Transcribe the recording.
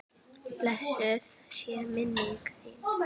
Blessuð sé minning þín.